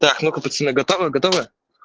так ну-ка пацаны готовы готовы